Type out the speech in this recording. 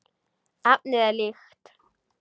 Efnið er líkt.